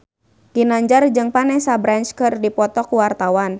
Ginanjar jeung Vanessa Branch keur dipoto ku wartawan